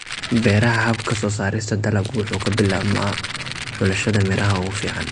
Beeraha, habka soo saarista dalaggu wuxuu ka bilaabmaa xulashada miraha ugu fiican.